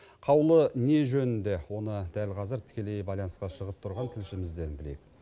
қаулы не жөнінде оны дәл қазір тікелей байланысқа шығып тұрған тілшімізден білейік